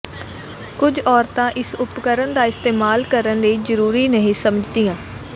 ਕੁਝ ਔਰਤਾਂ ਇਸ ਉਪਕਰਣ ਦਾ ਇਸਤੇਮਾਲ ਕਰਨ ਲਈ ਜ਼ਰੂਰੀ ਨਹੀਂ ਸਮਝਦੀਆਂ